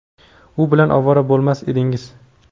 u bilan ovora bo‘lmas edingiz.